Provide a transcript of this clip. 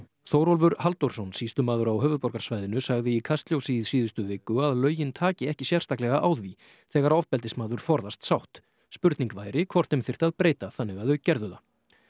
Þórólfur Halldórsson sýslumaður á höfuðborgarsvæðinu sagði í Kastljósi í síðustu viku að lögin taki ekki sérstaklega á því þegar ofbeldismaður forðast sátt spurning væri hvort þeim þyrfti að breyta þannig að þau gerðu það